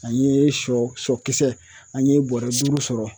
An ye sɔ sɔkisɛ an ye bɔrɛ duuru sɔrɔ.